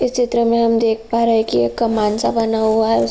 इस चित्र में हम देख पा रहे है कि इस में एक कमान सा बना हुआ है। उस --